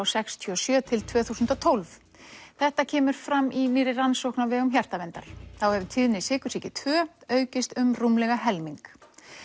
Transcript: sextíu og sjö til tvö þúsund og tólf þetta kemur fram í nýrri rannsókn á vegum Hjartaverndar þá hefur tíðni sykursýki tvö aukist um rúmlega helming